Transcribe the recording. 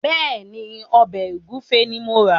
Bẹ́ẹ̀ ni, ọbẹ̀ ògúnfe ni mo rà.